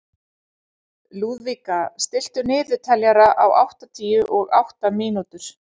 Lúðvíka, stilltu niðurteljara á áttatíu og átta mínútur.